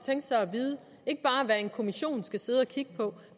vide ikke bare hvad en kommission skal sidde og kigge på